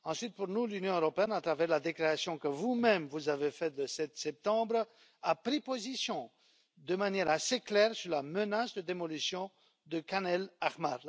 Ensuite, pour nous, l'Union européenne à travers la déclaration que vous même avez faite le 7 septembre a pris position de manière assez claire sur la menace de démolition de Khan el Ahmar.